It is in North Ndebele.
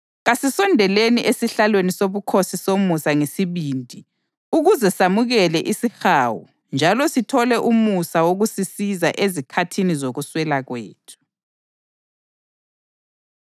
Kasisondeleni esihlalweni sobukhosi somusa ngesibindi ukuze samukele isihawu njalo sithole umusa wokusisiza ezikhathini zokuswela kwethu.